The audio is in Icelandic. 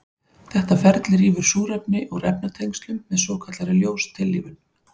Þetta ferli rýfur súrefni úr efnatengslum með svokallaðri ljóstillífun.